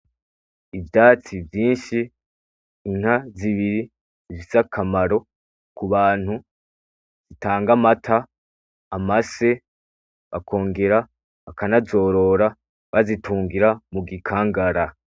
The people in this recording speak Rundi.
Ivyatsi vyinshi, inka zibiri zifise akamaro kubantu zitanga amata, amase bakongera bakanazorora bazitungira mugikangara.